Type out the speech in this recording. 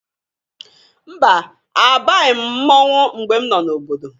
Mba! Abaghị m mmọnwe mgbe m nọ n'obodo.